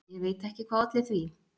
Ég veit ekki hvað olli því.